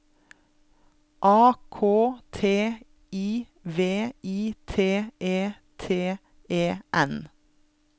A K T I V I T E T E N